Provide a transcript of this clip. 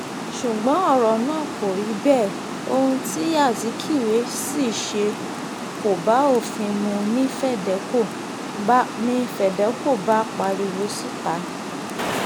ṣùgbọ́n ọ̀rọ̀ náà kò rí bẹ́ẹ̀ ohun tí azikiwe ṣì ṣe kò bá òfin mu ni fedeco bá pariwo síta